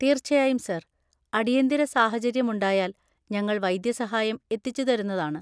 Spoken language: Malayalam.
തീർച്ചയായും, സർ. അടിയന്തിര സാഹചര്യമുണ്ടായാല്‍ ഞങ്ങള്‍ വൈദ്യസഹായം എത്തിച്ചുതരുന്നതാണ്.